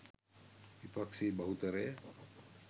විපක්‍ෂයේ බහුතරය